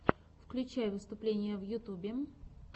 включай выступления в ютьюбе